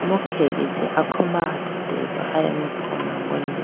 imu khege chee akhombra athuti ba aya mai phone angone de.